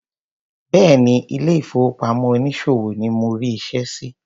Béèni ile ìfowópamọ́ onísòwò ni mo rí iṣẹ́ sí.